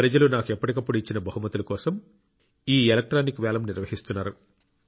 ప్రజలు నాకు ఎప్పటికప్పుడు ఇచ్చిన బహుమతుల కోసం ఈ ఎలక్ట్రానిక్ వేలం నిర్వహిస్తున్నారు